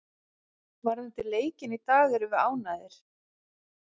Varðandi leikinn í dag erum við ánægðir.